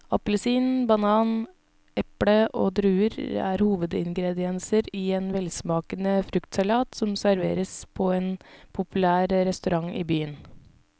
Appelsin, banan, eple og druer er hovedingredienser i en velsmakende fruktsalat som serveres på en populær restaurant i byen.